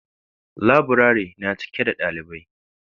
Laburare na cike da dalibai.